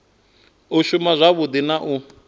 u shuma wavhudi na u